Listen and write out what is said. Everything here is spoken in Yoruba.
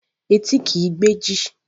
Etí kìí gbẹ́jì